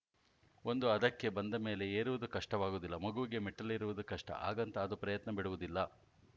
ಒಂದು ಹದಕ್ಕೆ ಬಂದಮೇಲೆ ಏರುವುದು ಕಷ್ಟವಾಗುವುದಿಲ್ಲ ಮಗುವಿಗೆ ಮೆಟ್ಟಿಲೇರುವುದು ಕಷ್ಟ ಹಾಗಂತ ಅದು ಪ್ರಯತ್ನ ಬಿಡುವುದಿಲ್ಲ